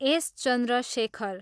S. Chandrashekhar